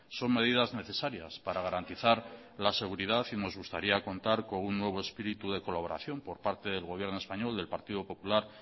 son medidas necesarias para garantizar la seguridad y nos gustaría contar con un nuevo espíritu de colaboración por parte del gobierno español del partido popular